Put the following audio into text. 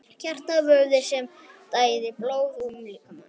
Hjartað er vöðvi sem sér um að dæla blóði um líkamann.